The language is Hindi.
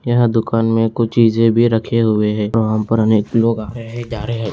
यहाँ दुकान मे कुछ चीजें भी रखे हुए हैं वहाँ पर अनेक लोग आ रहे हैं जा रहे हैं।